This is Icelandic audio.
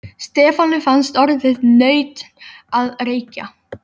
Stefáni fannst orðið nautn að reykja.